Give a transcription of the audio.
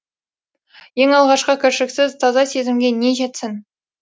ең алғашқы кіршіксіз таза сезімге не жетсін